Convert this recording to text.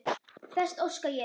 Þess óska ég.